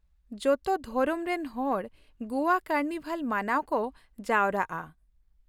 ᱡᱚᱛᱚ ᱫᱷᱚᱨᱚᱢ ᱨᱮᱱ ᱦᱚᱲ ᱜᱚᱣᱟ ᱠᱟᱨᱱᱤᱵᱷᱟᱞ ᱢᱟᱱᱟᱣ ᱠᱚ ᱡᱟᱣᱨᱟᱜᱼᱟ ᱾